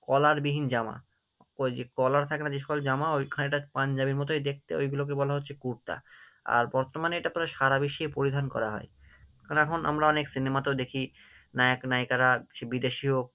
Collar বিহীন জামা, ওই যে collar থেকে না যে সকল জামা, ওই খানিকটা পাঞ্জাবির মতোই দেখতে, ওইগুলোকে বলা হচ্ছে কুর্তা, আর বর্তমানে এটা প্রায় সারা বিশ্বে পরিধান করা হয় কারণ এখন আমরা অনেক cinema তেও দেখি, নায়ক-নায়িকারা বিদেশিও